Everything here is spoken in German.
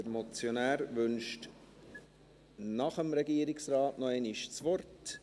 Der Motionär wünscht nach dem Regierungsrat noch einmal das Wort.